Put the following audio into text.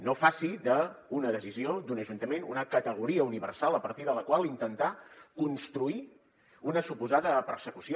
no faci d’una decisió d’un ajuntament una categoria universal a partir de la qual intentar construir una suposada persecució